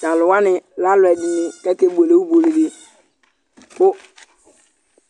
Tʋ alʋ wanɩ lɛ alʋɛdɩnɩ kʋ akebuele ibuele dɩ kʋ